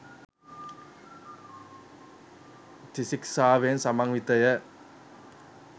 ත්‍රිශික්ෂාවෙන් සමන්විතය.